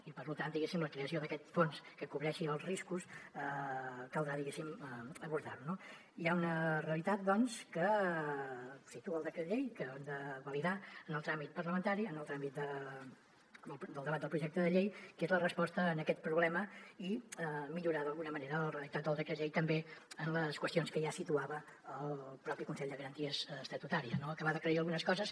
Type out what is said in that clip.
i per tant diguéssim la creació d’aquest fons que cobreixi els riscos caldrà diguéssim abordar lo no hi ha una realitat doncs que situa el decret llei que hem de validar en el tràmit parlamentari en el tràmit del debat del projecte de llei que és la resposta a aquest problema i millorar d’alguna manera el redactat del decret llei també en les qüestions que ja situava el propi consell de garanties estatutàries no acabar d’aclarir algunes coses